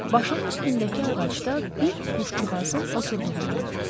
Başının üstündəki ağacda bir quşcuğazın oturduğunu gördü.